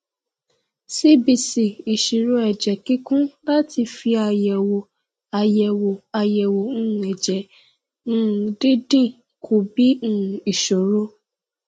cbc ìṣirò ẹjẹ kíkún láti fi àyẹwò àyẹwò àyẹwò um ẹjẹ um dídín kù bí um ìṣòro